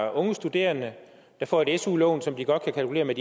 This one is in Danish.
om at unge studerende får et su lån som de godt kan kalkulere med